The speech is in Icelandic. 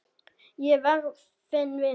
Ég verð þinn vinur.